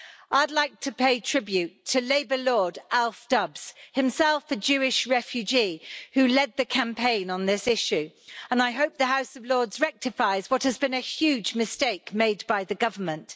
I'd like to pay tribute to Labour Lord Alf Dubs, himself a Jewish refugee, who led the campaign on this issue, and I hope the House of Lords rectifies what has been a huge mistake made by the government.